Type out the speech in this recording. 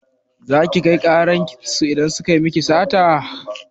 Za ki kai ƙarar su idan suka yi miki sata?